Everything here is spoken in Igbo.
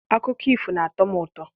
Akụkọ ifo na-atọ m ụtọ.